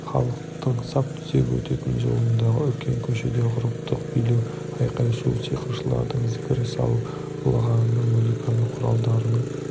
халықтың сап түзеп өтетін жолындағы үлкен көшеде ғұрыптық билеу айқай-шу сиқыршылардың зікір салып ұлығаны музыка құралдарының